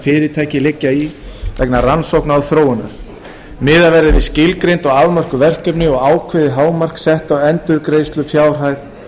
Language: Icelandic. fyrirtæki leggja í vegna rannsókna og þróunar miðað verði við skilgreind og afmörkuð verkefni og ákveðið hámark sett á endurgreiðslufjárhæð